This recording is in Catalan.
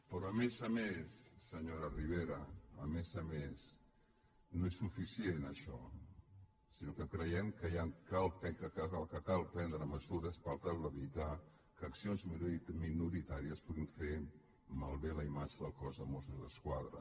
però a més a més senyora ribera a més a més no és suficient això sinó que creiem que cal prendre mesures per tal d’evitar que accions minoritàries puguin fer mal·bé la imatge del cos de mossos d’esquadra